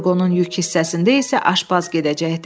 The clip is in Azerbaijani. Furqonun yük hissəsində isə aşpaz gedəcəkdi.